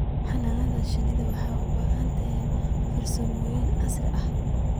Xannaanada shinnidu waxay u baahan tahay farsamooyin casri ah.